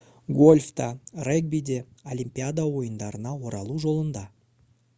гольф та регби де олимпиада ойындарына оралу жолында